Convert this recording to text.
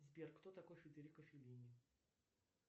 сбер кто такой федерико феллини